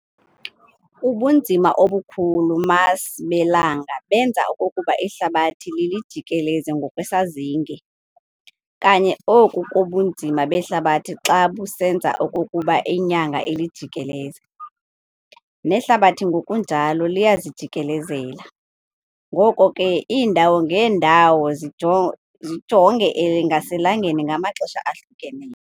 Ubunzima obukhulu mass belanga benza okokuba ihlabathi lilijikeleze ngokwesazinge, kanye oku kobunzima behlabathi xa busenza okokuba inyanga ilijikeleze . Nehlabathi ngokunjalo liyazijikikelezela, ngoko ke iindawo ngeendawo zijonge ngaselangeni ngamaxesha ahlukeneyo.